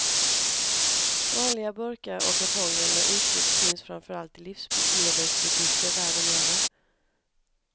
Vanliga burkar och kartonger med uttryck finns framför allt i livsmedelsbutiker världen över.